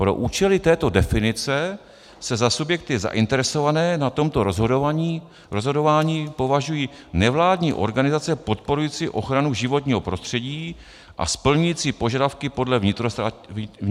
pro účely této definice se za subjekty zainteresované na tomto rozhodování považují nevládní organizace podporující ochranu životního prostředí a splňující požadavky podle vnitrostátního práva.